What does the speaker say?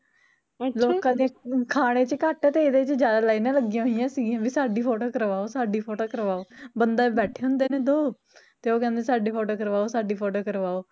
ਲੋਕਾਂ ਦੇ ਖਾਣੇ ਚ ਘੱਟ ਤੇ ਇਹਦੇ ਚ ਜਿਆਦਾ ਲਾਈਨਾਂ ਲੱਗੀਆ ਹੋਈਆ ਸੀਗੀਆ ਵੀ ਸਾਡੀ photo ਕਰਵਾਓ ਸਾਡੀ photo ਕਰਵਾਓ, ਬੰਦੇ ਬੈਠੇ ਹੁੰਦੇ ਨੇ ਦੋ ਤੇ ਓਹ ਕਹਿੰਦੇ ਸਾਡੀ photo ਕਰਵਾਓ ਸਾਡੀ photo ਕਰਵਾਓ